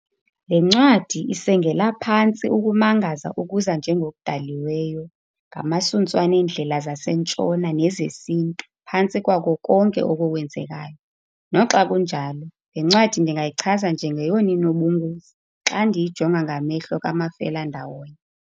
Le ncwadi isengela phantsi ukumangaza okuza njengokudaliweyo ngamasuntswana eendlela zaseNtshona nezesiNtu phantsi kwako konke oko kwenzekayo. Noxa kunjalo le ncwadi ndingayichaza njengeyona inobungozi xa ndiyijonga ngamehlo kamafelandawonye.